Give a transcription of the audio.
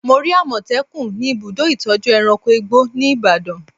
Mo rí àmọ̀tẹ́kùn ni ibùdó ìtọ́jú ẹranko igbó ní Ibadan